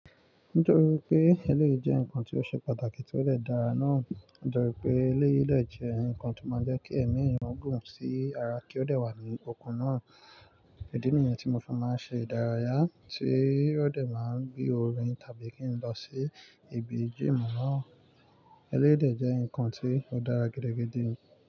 Nítorí pé eléyìí jẹ́ nǹkan tó ṣe pàtàkì tí ó de dára náà. Nítorí pé eléyìí de jẹ́ ǹkan tí ó máa jẹ́ kí ẹ̀mí èèyàn gùn ki ara kí ó dè wà ní okun náà. Idi nìyẹn tí mo fi máa ń ṣe ìdárayá tí ó dè máa ń gbé orin tàbí kí n lọ sí ibi gym náà. Eléyìí dẹ́ ǹkan tí ó dára gidi-gidi.